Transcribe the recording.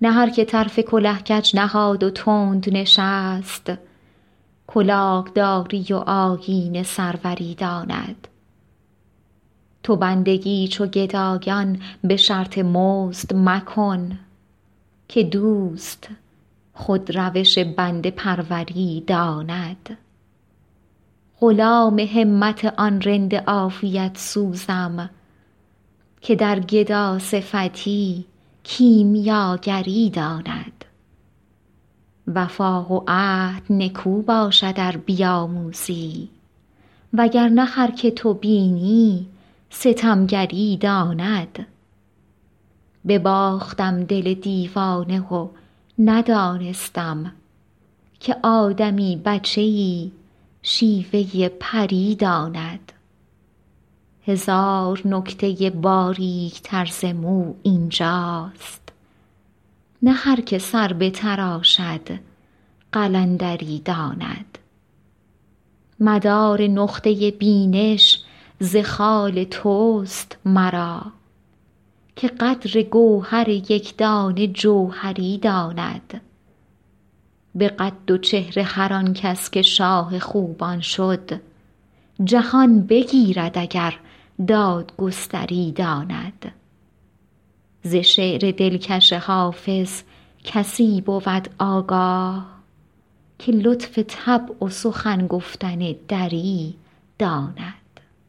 نه هر که طرف کله کج نهاد و تند نشست کلاه داری و آیین سروری داند تو بندگی چو گدایان به شرط مزد مکن که دوست خود روش بنده پروری داند غلام همت آن رند عافیت سوزم که در گداصفتی کیمیاگری داند وفا و عهد نکو باشد ار بیاموزی وگر نه هر که تو بینی ستمگری داند بباختم دل دیوانه و ندانستم که آدمی بچه ای شیوه پری داند هزار نکته باریک تر ز مو این جاست نه هر که سر بتراشد قلندری داند مدار نقطه بینش ز خال توست مرا که قدر گوهر یک دانه جوهری داند به قد و چهره هر آن کس که شاه خوبان شد جهان بگیرد اگر دادگستری داند ز شعر دلکش حافظ کسی بود آگاه که لطف طبع و سخن گفتن دری داند